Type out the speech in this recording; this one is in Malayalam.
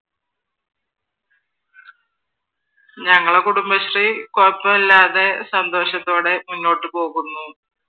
ഞങ്ങളുടെ കുടുംബശ്രീ കുഴപ്പം ഇല്ലാതെ സന്തോഷത്തോടെ മുന്നോട്ട് പോകുന്നു.